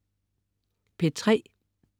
P3: